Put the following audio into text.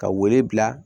Ka wele bila